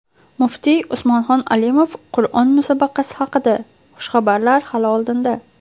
Muftiy Usmonxon Alimov Qur’on musobaqasi haqida: Xushxabarlar hali oldinda.